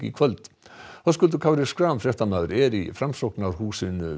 kvöld Höskuldur Kári Schram fréttamaður er í Framsóknarhúsinu